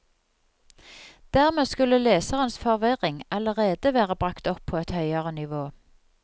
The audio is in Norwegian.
Dermed skulle leserens forvirring allerede være bragt opp på et høyere nivå.